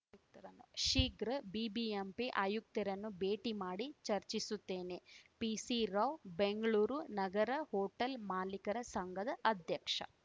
ಶೀಘ್ರ ಬಿಬಿಎಂಪಿ ಆಯುಕ್ತರನ್ನು ಭೇಟಿ ಮಾಡಿ ಚರ್ಚಿಸುತ್ತೇನೆ ಪಿಸಿರಾವ್‌ ಬೆಂಗ್ಳೂರು ನಗರ ಹೋಟೆಲ್‌ ಮಾಲಿಕರ ಸಂಘದ ಅಧ್ಯಕ್ಷ